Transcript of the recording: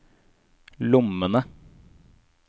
lommene